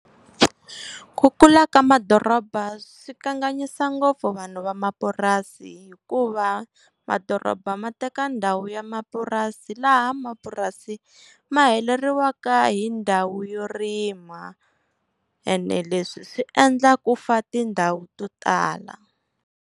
Ku kula ka madoroba swi kanganyisa ngopfu vanhu va mapurasi, hikuva madoroba ma teka ndhawu ya mapurasi laha mapurasi ma heleriwaka hi ndhawu yo rima, ene leswi swi endla ku fa tindhawu to tala.